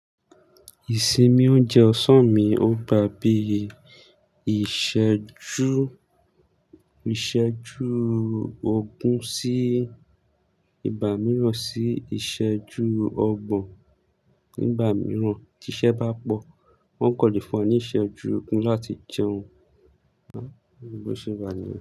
Ìsinmi oúnjẹ ọ̀sán mi ò gbà bí i ìsẹ̀jú, ìsẹ̀jú ogún sí ìgbà mìíràn sí ìsẹ̀jú ọgbọ̀n. Ní ìgbà mìíràn tí iṣẹ́ bá pọ̀, wọ́n kan lè fún wa ní ìsẹ̀jú ogún láti jẹun. Àn, bí mo ṣe gbà nílẹ̀